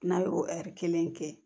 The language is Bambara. N'a ye o ɛri kelen kɛ